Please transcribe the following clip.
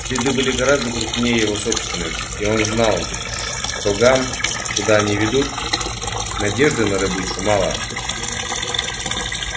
следы были гораздо крупнее его собственных и он знал что гам куда они ведут надежды на добычу мало